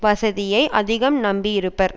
வசதியை அதிகம் நம்பியிருப்பர்